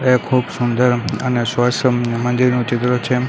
એ ખૂબ સુંદર અને સ્વસ મંદીરનું ચિત્ર છે.